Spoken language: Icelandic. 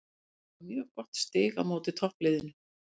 Þetta var mjög gott stig á móti toppliðinu.